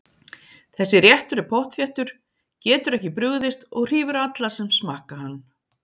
Þessi réttur er pottþéttur, getur ekki brugðist og hrífur alla sem smakka hann.